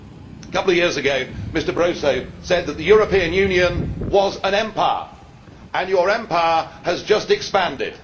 A couple of years ago Mr Barroso said that the European Union was an empire, and your empire has just expanded.